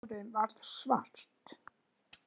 Og hárið varð svart